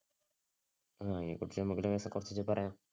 ആഹ് അതിനെകുറിച്ച് നമക്ക് ലേശം കൊറച്ചൊക്കെ പറയാം,